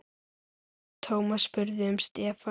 Thomas spurði um Stefán.